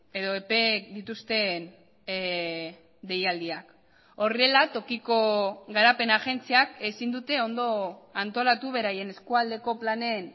edo epeek dituzten deialdiak horrela tokiko garapen agentziak ezin dute ondo antolatu beraien eskualdeko planen